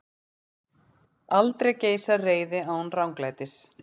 Aldrei geisar reiði án ranglætis.